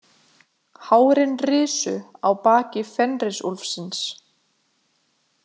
Hárin risu á baki Fenrisúlfsins.